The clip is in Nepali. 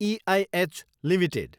ऐह एलटिडी